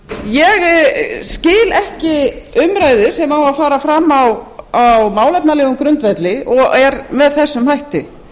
ég skil ekki umræðu sem á að fara fram á málefnalegum grundvelli og er með þessum hætti